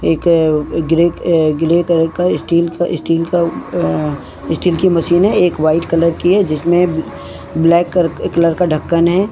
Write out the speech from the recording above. एक grey grey colour का steel का स्टील का अ-स्टील की मशीन है एक वाइट कलर की है जिसमे ब्लैक क-कलर का ढकन है।